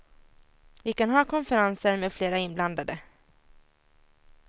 Vi kan ha konferenser med flera inblandade.